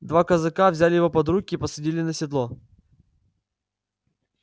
два казака взяли его под руки и посадили на седло